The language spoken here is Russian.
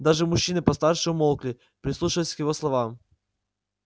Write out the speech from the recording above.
даже мужчины постарше умолкли прислушиваясь к его словам